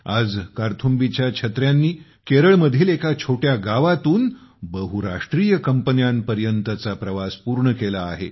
आज कार्थुम्बीच्या छत्र्यांनी केरळमधील एका छोट्या गावातून बहुराष्ट्रीय कंपन्यांपर्यंतचा प्रवास पूर्ण केला आहे